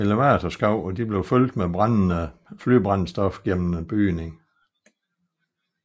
Elevatorskakterne blev fyldt med brændende flybrændstof gennem bygningen